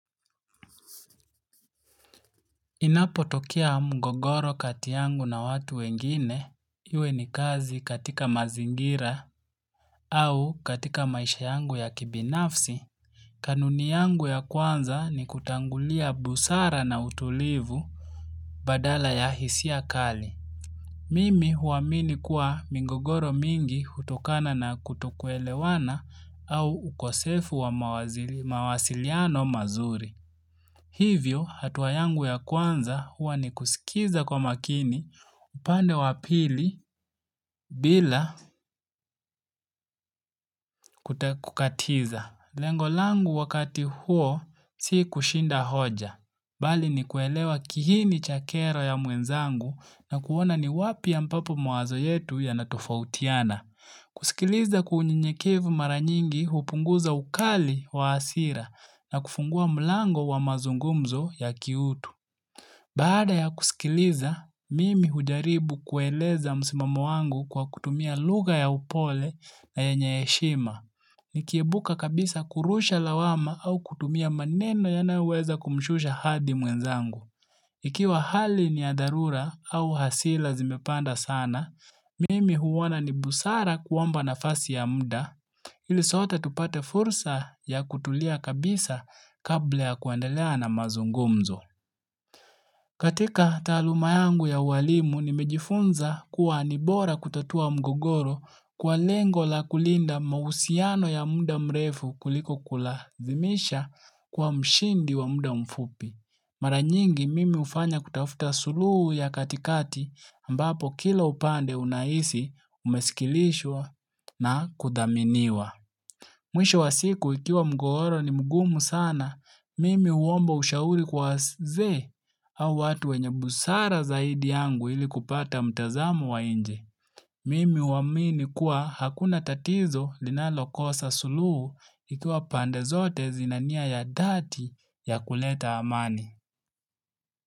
Inapotokea mgogoro kati yangu na watu wengine, Iwe ni kazi katika mazingira au katika maisha yangu ya kibinafsi, kanuni yangu ya kwanza ni kutangulia busara na utulivu badala ya hisia kali. Mimi huwamini kuwa migogoro mingi hutokana na kutokuelewana au ukosefu wa mawazili mawasiliano mazuri. Hivyo hatuwayangu ya kwanza huwa ni kusikiza kwa makini upande wapili bila kutakukatiza. Lengo langu wakati huo si kushinda hoja. Bali ni kuelewa kihini chakero ya muenzangu na kuona ni wapi ya mpapo mwazo yetu ya natofautiana. Kusikiliza kwa unyeyekevu mara nyingi upunguza ukali wa asira na kufungua mlango wa mazungumzo ya kiutu. Baada ya kusikiliza, mimi hujaribu kueleza msimamo wangu kwa kutumia lugha ya upole na yenye heshima. Nikiebuka kabisa kurusha lawama au kutumia maneno nayo weza kumshusha hadi mwenzangu. Ikiwa hali ni adharura au hasira zimepanda sana, mimi huona ni busara kuomba nafasi ya muda, Ilisota tupate fursa ya kutulia kabisa kabla ya kuandelea na mazungumzo. Katika taluma yangu ya walimu nimejifunza kuwa anibora kutatua mgogoro kwa lengo la kulinda mahusiano ya muda mrefu kuliko kulazimisha kwa mshindi wa muda mfupi. Mara nyingi mimi ufanya kutafuta sulu ya katikati ambapo kila upande unahisi umesikilishwa na kudaminiwa. Mwisho wa siku ikiwa mgogoro ni mgumu sana, mimi uomba ushauri kwa waeze au watu wenye busara zaidi yangu ili kupata mtazamu wa inje. Mimi uamini kuwa hakuna tatizo linalo kosa suluhu ikiwa pande zote zinania ya dhati ya kuleta amani.